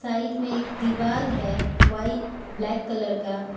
Side में एक दीवाल है व्हाइट ब्लैक कलर का।